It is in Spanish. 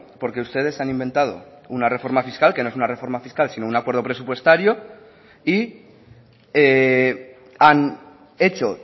porque ustedes han inventado una reforma fiscal que no es una reforma fiscal sino un acuerdo presupuestario y han hecho